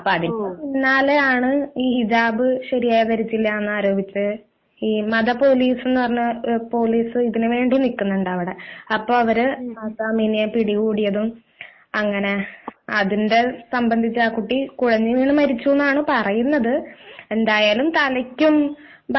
അതിനു പിന്നാലെയാണ് ഈ ഹിജാബ് ശരിയായി ധരിച്ചില്ല എന്നാരോപിച്ചു ഇ മത പോലീസ് എന്ന പോലീസ് ഇതിനു വേണ്ടി നിൽക്കുന്നുണ്ട് അവിടെ അപ്പൊ അവരെ പിടികൂടിയതും അപ്പൊ അതിനെ സംബന്ധിച്ച് ആ കുട്ടി കുഴഞ്ഞുവീണ് മരിച്ചു എന്നാണ് പറയുന്നത് . എന്തായാലും തലക്കും